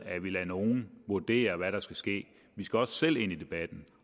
at vi lader nogle vurdere med hvad der skal ske vi skal også selv ind i debatten